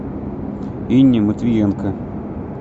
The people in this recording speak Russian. инне матвиенко